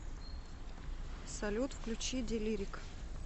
салют включи делирик